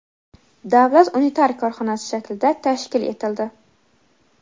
davlat unitar korxonasi shaklida tashkil etildi.